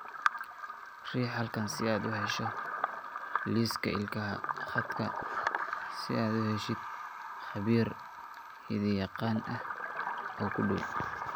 Riix halkan si aad u hesho liiska ilaha khadka si aad u heshid khabiir hidde-yaqaan ah oo kuu dhow.